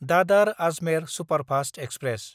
दादार–आजमेर superfast express